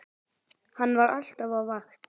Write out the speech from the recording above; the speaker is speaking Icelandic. Hann var alltaf á vakt.